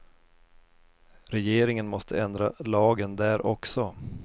Regeringen måste ändra lagen där också.